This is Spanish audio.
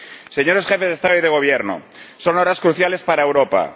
Señores Jefes de Estado y de Gobierno, son horas cruciales para Europa.